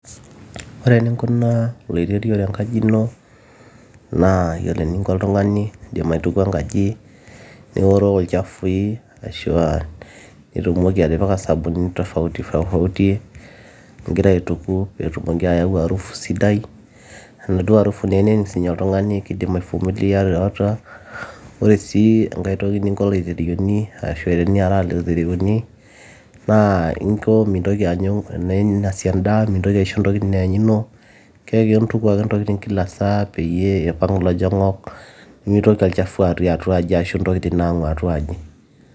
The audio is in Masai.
ore eninkunaa oloirerio tenkaji ino naa yiolo eninko oltung'ani indim aitukuo enkaji niworoo ilchafui ashua nitumoki atipika isabunini tofauti tofauti ingira aituku peetumoki ayau arufu sidai enaduo arufu naa enening sininye oltung'ani kidim aifumulia tiatua ore sii enkae toki ninko iloiterioni ashua teniaraa loiterioni naa inko mintoki aanyu teneinasi endaa mintoki aisho ntokitin eanyuno keaku intuku ake intokitin kila saa peyie eipang ilojong'ok nemitoki olchafu atii atua aji ashu ntokitin naang'u atua aji.